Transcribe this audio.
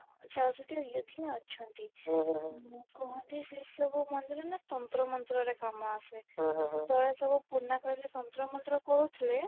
ଚଉଷଠି ୟୋଗୀନି ଅଛନ୍ତି କୁହନ୍ତି ସେ ସବୁ ମନ୍ଦିର ନା ତନ୍ତ୍ର ମନ୍ତ୍ର ରେ କାମ ଆସେ ତ ସବୁ ପୁରୁଣା କାଳରେ ତନ୍ତ୍ର ମନ୍ତ୍ର କରୁଥିଲେ